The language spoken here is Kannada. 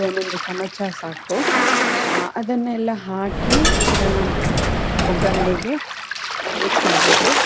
ಒಂದೊಂದು ಚಮಚ ಸಾಕು ಅಹ್ ಅದನ್ನೆಲ್ಲ ಹಾಕಿ ಅದನ್ನ ಒಗ್ಗರೆನೆಗೆ ಅಹ್ mix ಮಾಡ್ಬೇಕು.